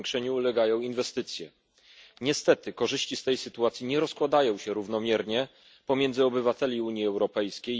Zwiększeniu ulegają inwestycje. Niestety korzyści z tej sytuacji nie rozkładają się równomiernie pomiędzy obywateli Unii Europejskiej.